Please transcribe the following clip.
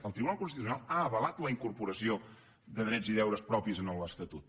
el tribunal constitucional ha avalat la incorporació de drets i deures propis en l’estatut